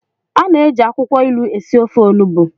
A na-eji akwukwo ilu esi ofe onugbu.